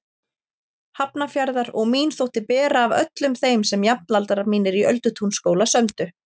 Hafnarfjarðar og mín þótti bera af öllum þeim sem jafnaldrar mínir í Öldutúnsskóla sömdu.